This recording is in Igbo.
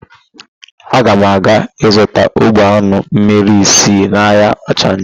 Aga m aga ịzụta ogbe ányụ mmmiri ise n'ahịa ọchanja.